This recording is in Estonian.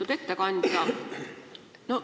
Lugupeetud ettekandja!